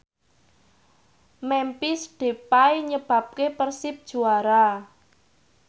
Memphis Depay nyebabke Persib juara